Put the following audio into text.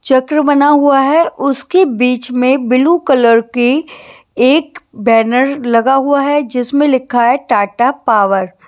चक्र बना हुआ है उसके बीच में ब्लू कलर के एक बैनर लगा हुआ है जिसमें लिखा है टाटा पावर ।